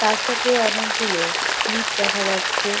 তার সাথে অনেক গুলো স্লিপ দেখা যাচ্ছে।